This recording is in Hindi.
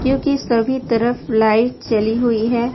क्योंकि सभी तरफ लाइट चली हुई है।